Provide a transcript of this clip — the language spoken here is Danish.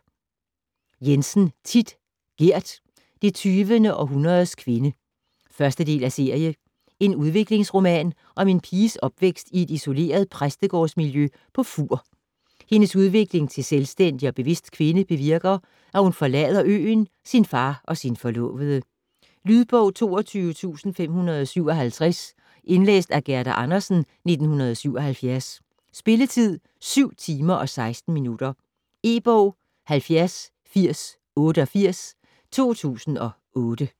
Jensen, Thit: Gerd: det tyvende Aarhundredes Kvinde 1. del af serie. En udviklingsroman om en piges opvækst i et isoleret præstegårds-miljø på Fuur. Hendes udvikling til selvstændig og bevidst kvinde bevirker, at hun forlader øen, sin far og sin forlovede. Lydbog 22557 Indlæst af Gerda Andersen, 1977. Spilletid: 7 timer, 16 minutter. E-bog 708088 2008.